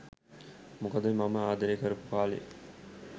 මොකද මම ආදරය කරපු කා‍ලේ